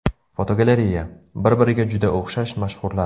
Fotogalereya: Bir-biriga juda o‘xshash mashhurlar.